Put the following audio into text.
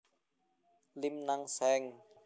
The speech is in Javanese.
Lim Nang Seng